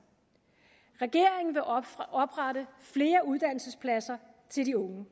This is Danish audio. regeringen vil oprette flere uddannelsespladser til de unge